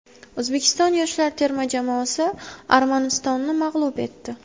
O‘zbekiston yoshlar terma jamoasi Armanistonni mag‘lub etdi.